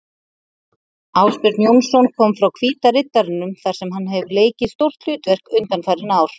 Ásbjörn Jónsson kom frá Hvíta Riddaranum þar sem hann hefur leikið stórt hlutverk undanfarin ár.